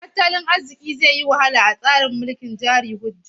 Tattalin arziki zai wahala a tsarin mulkin jari hujja.